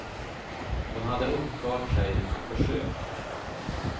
Hon hade uppfört sig och försökt.